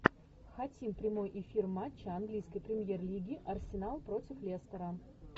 хотим прямой эфир матча английской премьер лиги арсенал против лестера